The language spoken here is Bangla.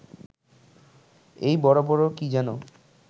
এই বড় বড় কি যেন